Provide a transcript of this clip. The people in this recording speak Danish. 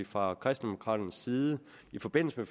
fra kristendemokraternes side i forbindelse